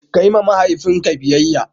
Kayi wa mahaifinka biyayyya.